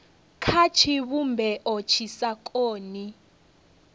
kha tshivhumbeo tshi sa koni